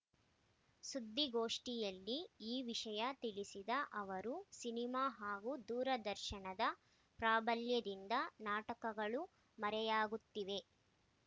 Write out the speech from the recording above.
ಸುದ್ದಿಗೋಷ್ಠಿಯಲ್ಲಿ ಈ ವಿಷಯ ತಿಳಿಸಿದ ಅವರು ಸಿನಿಮಾ ಹಾಗೂ ದೂರದರ್ಶನದ ಪ್ರಾಬಲ್ಯದಿಂದ ನಾಟಕಗಳು ಮರೆಯಾಗುತ್ತಿವೆ